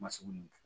Masugu